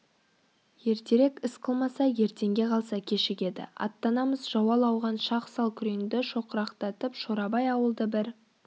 ертерек іс қылмаса ертеңге қалса кешігеді аттанамыз зауал ауған шақ сал күреңді шоқырақтатып шорабай ауылды бір